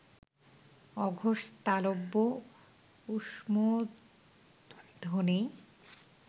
অঘোষ তালব্য ঊষ্মধ্বনি